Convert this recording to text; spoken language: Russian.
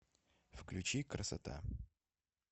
включи красота